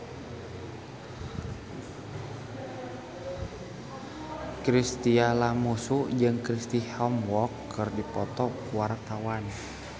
Chintya Lamusu jeung Chris Hemsworth keur dipoto ku wartawan